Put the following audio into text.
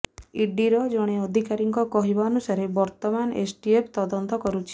ଇଡିର ଜଣେ ଅଧିକାରୀଙ୍କ କହିବା ଅନୁସାରେ ବର୍ତ୍ତମାନ ଏସ୍ଟିଏଫ୍ ତଦନ୍ତ କରୁଛି